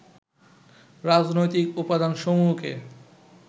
রাজনৈতিক উপাদানসমূহকে